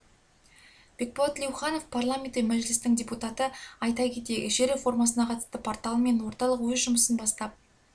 бекболат тілеухан парламенті мәжілісінің депутаты айта кетейік жер реформасына қатысты порталы мен орталық өз жұмысын бастап